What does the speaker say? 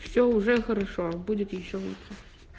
все уже хорошо будет ещё лучше